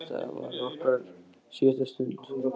Óvitandi um að þetta var okkar síðasta stund.